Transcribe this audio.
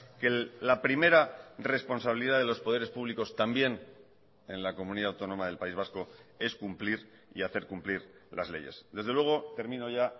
que la primera responsabilidad de los poderes públicos también en la comunidad autónoma del país vasco es cumplir y hacer cumplir las leyes desde luego termino ya